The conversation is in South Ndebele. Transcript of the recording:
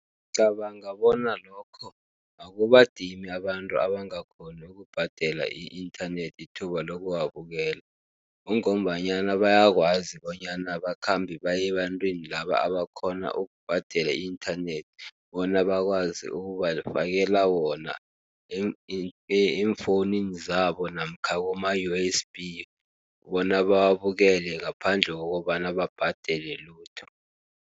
Ngicabanga bona lokho akubadimi abantu abangakghoni ukubhadela i-inthanethi ithuba lokuwabukela. Kungombanyana bayakwazi bonyana bakhambe baye ebantwini laba abakghona ukubhadela i-inthanethi bona bakwazi ukubafakela wona eemfowunini zabo, namkha kuma-U_S_B, bona bawabukele ngaphandle kokobana babhadele lutho.